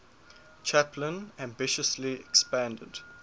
chaplin ambitiously expanded